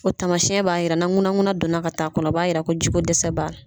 Tamasiɛn b'a yira nun ŋunanŋunan donna ka taa kɔnɔ, a b'a yira ko ji ko dɛsɛ b'a la.